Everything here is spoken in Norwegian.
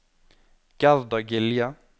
Gerda Gilje